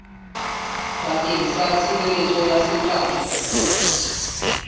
bakeng sa tshireletso ya seqatjwa